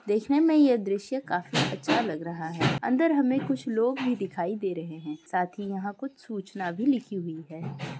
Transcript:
देखने मे यह दृश्य काफी अच्छा लग रहा है अंदर हमे कुछ लोग भी दिखाई दे रहे है साथ ही यहां कुछ सुचना भी लिखी हुई है।